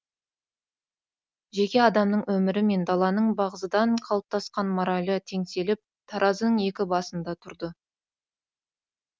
жеке адамның өмірі мен даланың бағзыдан қалыптасқан моралі теңселіп таразының екі басында тұрды